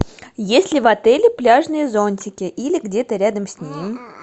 есть ли в отеле пляжные зонтики или где то рядом с ним